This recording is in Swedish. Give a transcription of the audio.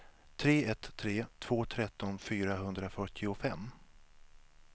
tre ett tre två tretton fyrahundrafyrtiofem